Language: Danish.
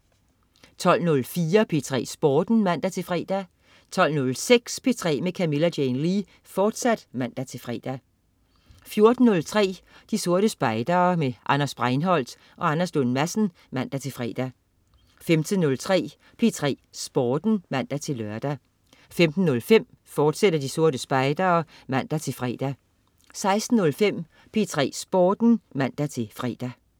12.04 P3 Sporten (man-fre) 12.06 P3 med Camilla Jane Lea, fortsat (man-fre) 14.03 De Sorte Spejdere. Anders Breinholt og Anders Lund Madsen (man-fre) 15.03 P3 Sporten (man-lør) 15.05 De Sorte Spejdere, fortsat (man-fre) 16.05 P3 Sporten (man-fre)